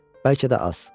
Bəlkə də az.